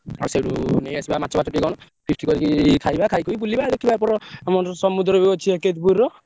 ଆଉ ସେଉଠୁ ନେଇଆସିବା ମାଛ ଫାଛ କି କଣ feast କରିକି ଖାଇବା ଖାଇକି ବଉଳିବା ଆଉ ଦେଖିବା ଏପଟ ଆମର ସମୁଦ୍ର ଅଛି ।